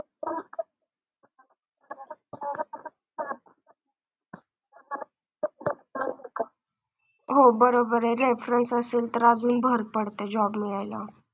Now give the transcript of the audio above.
हो बरोबर आहे. reference असेल तर अजून भर पडते job मिळायला.